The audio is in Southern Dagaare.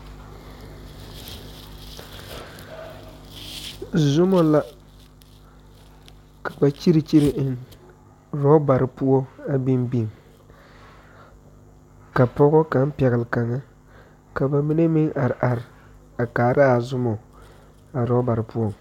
Zuma la ka ba kyire kyire eŋ robberi poɔ, a biŋ biŋ ka pɔgɔ kaŋa pɛgle kaŋa ka ba mine meŋ are are a kaara a zumɔ a robberi poɔŋ.